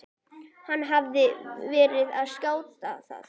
Hún hafði verið að skoða það.